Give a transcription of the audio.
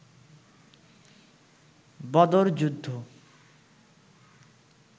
বদর যুদ্ধ